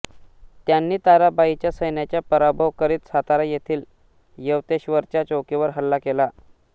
त्यांनी ताराबाईच्या सैन्यांचा पराभव करीत सातारा येथील यवतेश्वरच्या चौकीवर हल्ला केला